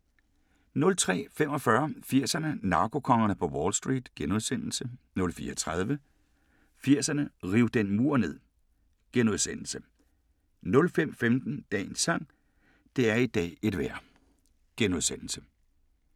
03:45: 80'erne: Narkokongerne på Wall Street * 04:30: 80'erne: Riv den mur ned * 05:15: Dagens sang: Det er i dag et vejr *